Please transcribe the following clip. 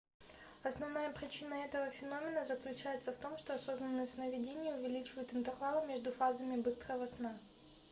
основная причина этого феномена заключается в том что осознанные сновидения увеличивают интервалы между фазами быстрого сна